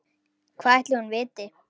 Hvað ætli hún viti?